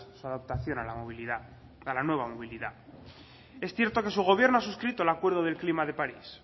su adaptación a la movilidad a la nueva movilidad es cierto que su gobierno ha suscrito el acuerdo del clima de parís